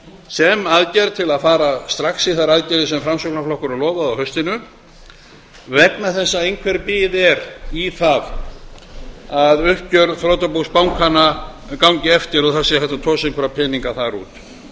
sem aðgerð til að fara strax í þær aðgerðir sem framsóknarflokkurinn lofaði á haustinu vegna þess að einhver bið er í að uppgjör þrotabús bankanna gangi eftir og það verði hægt að tosa einhverja peninga þar út